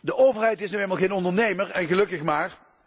De overheid is nu eenmaal geen ondernemer, en gelukkig maar.